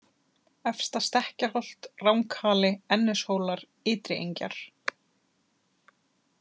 Efsta-Stekkjarholt, Ranghali, Ennishólar, Ytriengjar